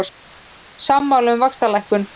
Sammála um vaxtalækkun